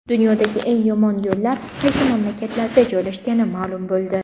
Dunyodagi eng yomon yo‘llar qaysi mamlakatlarda joylashgani ma’lum bo‘ldi.